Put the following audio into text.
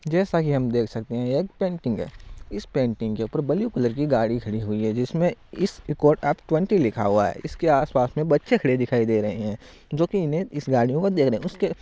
जेसा की हम देख सकते है यह एक पेंटिंग है इस पेंटिंग के ऊपर ब्लू कलर की गाड़ी खड़ी हुई है जिसमे इस्कोर्ट एफ ट्वेंटी लिखा हुआ है इसके आसपास में बच्चे खड़े दिखाई दे रहे है जोकि इन्हे इस गाड़ी को --